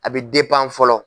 A bɛ fɔlɔ.